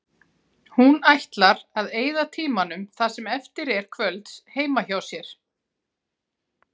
Hún ætlar að eyða tímanum það sem eftir er kvölds heima hjá sér.